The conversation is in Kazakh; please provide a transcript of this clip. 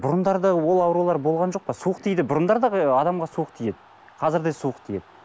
бұрындары да ол аурулар болған жоқ па суық тиді бұрындары да адамға суық тиеді қазір де суық тиеді